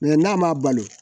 n'a ma balo